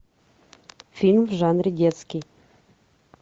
фильм в жанре детский